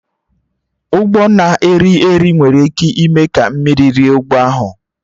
Ụgbọ na-eri eri nwere ike ime ka mmiri rie ụgbọ ahụ